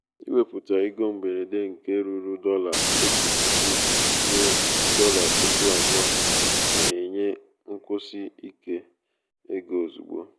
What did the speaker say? ịweputa ego mberede nke ruru dollar otu puku ruo dolla puku abụọ na-enye nkwụsi ike ego ozugbo.